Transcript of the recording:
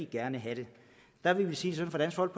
gerne have det der vil vi sige sådan fra